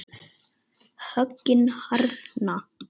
Höggin harðna.